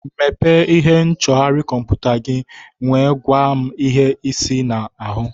Mepee ihe nchọgharị kọmputa gị nwee gwa m ihe ise ị na-ahụ